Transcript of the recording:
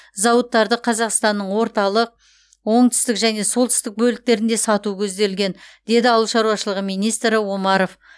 зауыттарды қазақстанның орталық оңтүстік және солтүстік бөліктерінде салу көзделген деді ауыл шаруашылығы министрі омаров